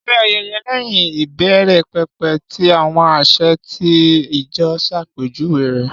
Ṣé ayẹyẹ lẹ́yìn ìbẹ̀rẹ̀pẹ̀pẹ̀ tí àwọn àsè àti ijó ṣàpèjúwe rẹ̀?